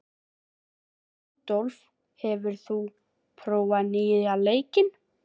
Rannsökum við of mikið?